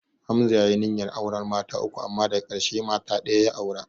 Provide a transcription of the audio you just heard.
Hamza ya yi niyyar auren mata uku amma daka ƙarshe mata ɗaya ya aura